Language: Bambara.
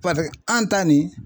Paseke an ta nin